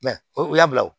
Mɛ ko u y'a bila o